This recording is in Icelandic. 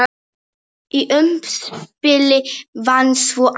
Í umspili vann svo Axel.